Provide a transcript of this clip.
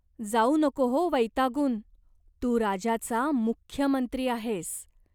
जाऊ नको हो वैतागून. तू राजाचा मुख्य मंत्री आहेस.